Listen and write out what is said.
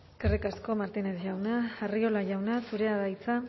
eskerrik asko martínez jauna arriola jauna zurea da hitza